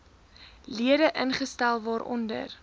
lede ingestel waaronder